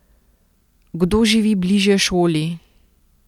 Kdo živi bližje šoli?